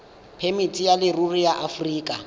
phemiti ya leruri ya aforika